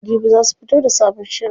Jibi za su fito da sabon shirin.